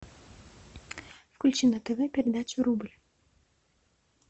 включи на тв передачу рубль